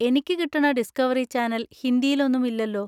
എനിക്ക് കിട്ടണ Discovery channel ഹിന്ദിയിൽ ഒന്നും ഇല്ലല്ലോ.